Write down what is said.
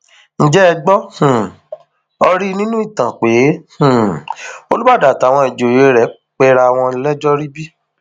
ǹjẹ ẹ gbọ um ọ rí nínú ìtàn pé um olùbàdàn àtàwọn ìjòyè rẹ pera wọn lẹjọ rí bí